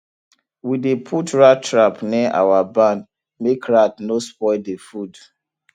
we dey put rat trap near our barn make rat no spoil the food